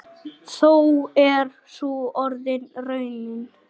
Þó er sú orðin raunin.